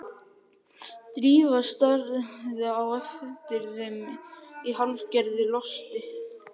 Drífa starði á eftir þeim í hálfgerðu losti.